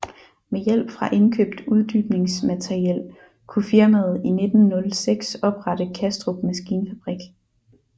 Med hjælp fra indkøbt uddybningsmateriel kunne firmaet i 1906 oprette Kastrup Maskinfabrik